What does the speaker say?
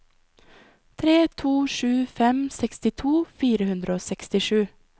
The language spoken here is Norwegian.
tre to sju fem sekstito fire hundre og sekstisju